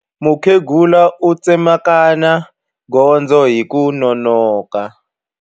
Mukhegula u tsemakanya gondzo hi ku nonoka.